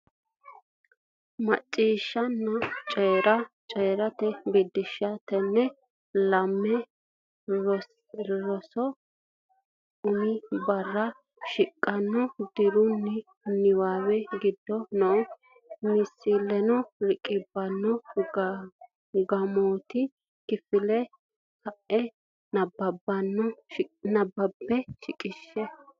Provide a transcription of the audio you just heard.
Macciishshanna Coyi’ra: Coyi’ra Biddissa Tenne lamala rosira umi barra shiqqino diraamu niwaawe giddo noo misilaano riqibbine, gaamotenni kifilete ka’ine nabbabbinanni shiqishshe.